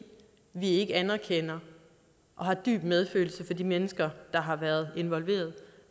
vi ikke anerkender og har dyb medfølelse for de mennesker der har været involveret